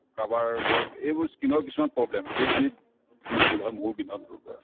কাৰোবাৰ ধৰক এইবোৰ skin ৰ কিছুমান problem এইখিনিত নিৰ্মূল হয় মৌৰ বিন্ধনতোৰ পৰা